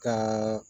Ka